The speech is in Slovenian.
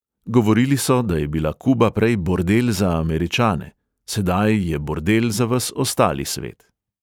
Govorili so, da je bila kuba prej bordel za američane, sedaj je bordel za ves ostali svet.